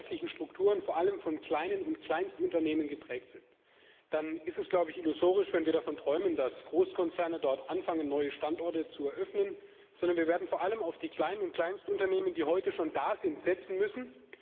Wenn die wirtschaftlichen Strukturen vor allem von kleinen und Kleinstunternehmen geprägt sind, dann ist es illusorisch, wenn wir davon träumen, dass Großkonzerne anfangen, dort neue Standorte zu eröffnen, sondern wir werden vor allem auf die kleinen und Kleinstunternehmen, die heute schon da sind, setzen müssen.